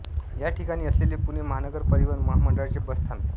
या ठिकाणी असलेले पुणे महानगर परिवहन महामंडळाचे बस थांबे